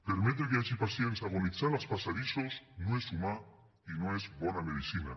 permetre que hi hagi pacients agonitzant als passadissos no és humà i no és bona medicina